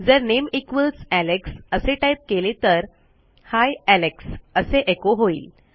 जर name equals Alex असे type केले तर ही एलेक्स असे एचो होईल